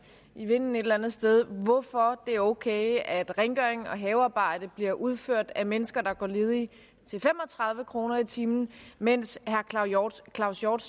i vinden et eller andet sted hvorfor det er okay at rengøring og havearbejde bliver udført af mennesker der går ledige til fem og tredive kroner i timen mens herre claus claus hjort